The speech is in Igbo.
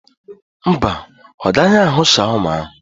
Mba, o gaghị ahụ shawama ahụ.